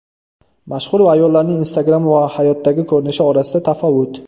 Mashhur ayollarning Instagram va hayotdagi ko‘rinishi orasidagi tafovut .